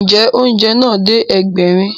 Ǹjẹ́, oúnjẹ náà dé Ẹgbẹ̀rin